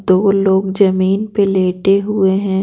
दो लोग जमीन पर लेटे हुए हैं।